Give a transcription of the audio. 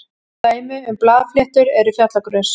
dæmi um blaðfléttur eru fjallagrös